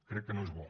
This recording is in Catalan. crec que no és bo